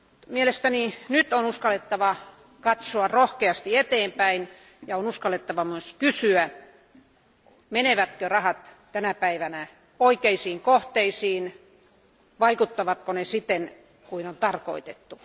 Mielestäni nyt on uskallettava katsoa rohkeasti eteenpäin ja on uskallettava myös kysyä, menevätkö rahat tänä päivänä oikeisiin kohteisiin ja vaikuttavatko ne siten, kuin on tarkoitettu.